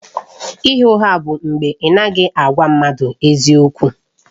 Ịgha ụgha bụ mgbe ị anaghị agwa mmadụ eziokwu.